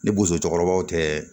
Ni bosokɔrɔbaw tɛ